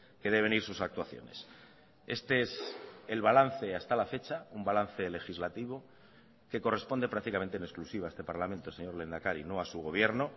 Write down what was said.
que deben ir sus actuaciones este es el balance hasta la fecha un balance legislativo que corresponde prácticamente en exclusiva a este parlamento señor lehendakari no a su gobierno